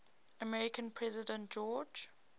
american president george